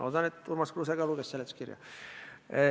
Loodan, et ka Urmas Kruuse luges seletuskirja.